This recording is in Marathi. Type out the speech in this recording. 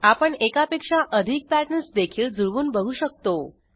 आपण एकापेक्षा अधिक पॅटर्न्स देखील जुळवून बघू शकतो